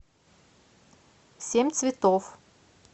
семь цветов